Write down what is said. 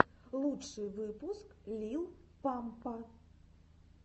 лучший выпуск лил пампа